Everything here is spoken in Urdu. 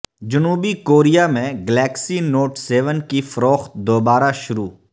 جنوبی کوریا میں گلیکسی نوٹ سیون کی فروخت دوبارہ شروع